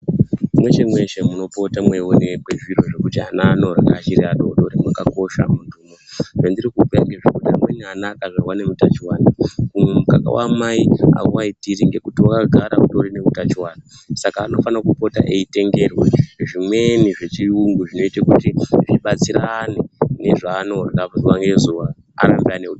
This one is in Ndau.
Mweshe mweshe munopota mweionekwe zviro zvekuti ana anorya achiri adodori mwakakosha muntumo. Zvandirikubhuya ngezvekuti amweni ana akazvarwa neutachiwana umu mukaka waamai hauaitiri ngekuti wakagara utori neutachiwana Saka anofana kupota eitengerwe zvimweni zvechiyungu zvinoita kuti zvibatsirane nezvanorya zuwa ngezuwa arambe ane.